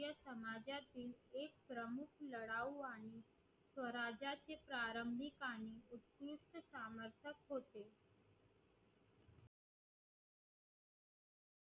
लढाऊ आणि स्वराज्याचे प्रारंभित